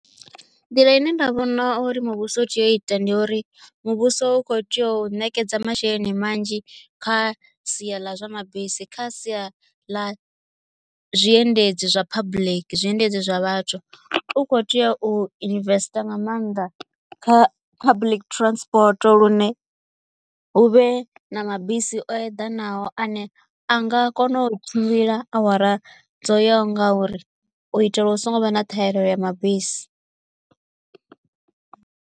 Nḓila ine nda vhona uri muvhuso u tea u ita ndi uri muvhuso u kho tea u ṋekedza masheleni manzhi kha sia ḽa zwa mabisi kha sia ḽa zwiendedzi zwa public zwiendedzi zwa vhathu u kho tea u investor nga maanḓa kha public transport lune hu vhe na mabisi o eḓanaho ane a nga kona u tshimbila awara dzo yaho nga uri u itela hu songo vha na ṱhahelelo ya mabisi.